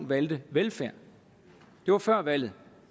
valgte velfærden det var før valget